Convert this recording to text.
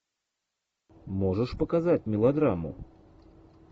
можешь показать мелодраму